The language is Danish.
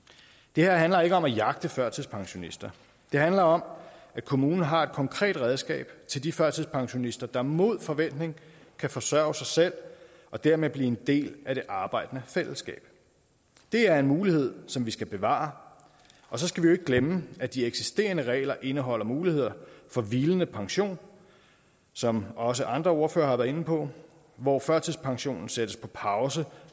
det her handler ikke om at jagte førtidspensionister det handler om at kommunen har et konkret redskab til de førtidspensionister der mod forventning kan forsørge sig selv og dermed blive en del af det arbejdende fællesskab det er en mulighed som vi skal bevare og så skal vi ikke glemme at de eksisterende regler indeholder muligheder for hvilende pension som også andre ordførere har været inde på hvor førtidspensionen sættes på pause